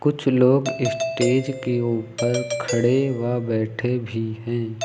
कुछ लोग स्टेज के ऊपर खड़े व बैठे भी है।